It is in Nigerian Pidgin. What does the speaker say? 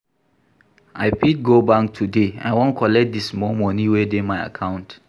I fit go bank today, I wan collect di small moni wey dey my account.